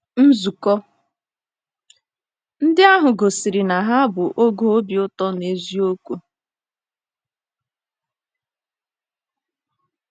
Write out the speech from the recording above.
Nzukọ ndị ahụ gosiri na ha bụ oge obi ụtọ n’eziokwu.